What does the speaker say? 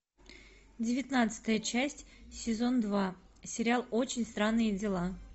девятнадцатая часть сезон два сериал очень странные дела